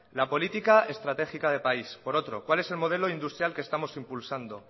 la política estratégica de país por otro cuál es el modelo industrial que estamos impulsando